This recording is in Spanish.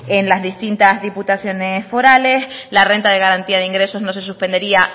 en las distintas diputaciones forales la renta de garantía de ingresos no se suspendería